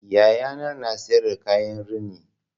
Yayana na siyar da kayan rini